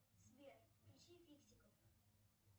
сбер включи фиксиков